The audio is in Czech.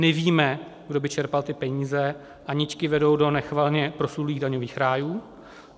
Nevíme, kdo by čerpal ty peníze, a nitky vedou do nechvalně proslulých daňových rájů.